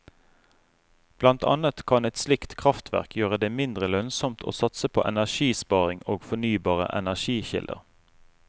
Blant annet kan et slikt kraftverk gjøre det mindre lønnsomt å satse på energisparing og fornybare energikilder.